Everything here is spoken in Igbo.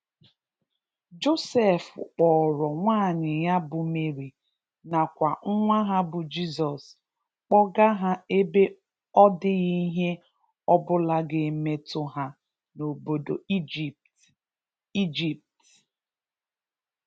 Josef kpọrọ nwanyi ya bụ Mary na kwa nwa ha bụ Jizọs kpọga ha ebe ọ dighi ihe ọ bụla ga emetu ha n'obodo Egypt (ijipt).